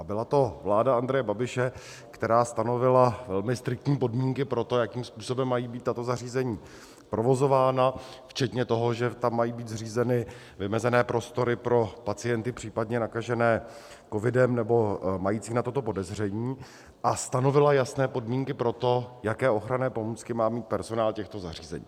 A byla to vláda Andreje Babiše, která stanovila velmi striktní podmínky pro to, jakým způsobem mají být tato zařízení provozována, včetně toho, že tam mají být zřízeny vymezené prostory pro pacienty případně nakažené covidem nebo mající na toto podezření, a stanovila jasné podmínky pro to, jaké ochranné pomůcky má mít personál těchto zařízení.